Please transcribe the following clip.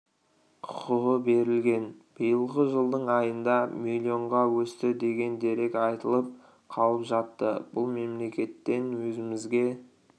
құқығы берілген биылғы жылдың айында миллионға өсті деген дерек айтылып қалып жатты бұл мемлекеттен өзімізге